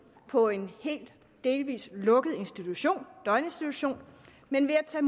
på en hel delvis lukket institution døgninstitution men ved at